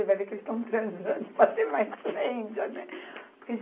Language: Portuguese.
Vai ver que eles estão transando, para vir mais lêndea, né?